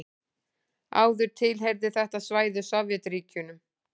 Áður tilheyrði þetta svæði Sovétríkjunum.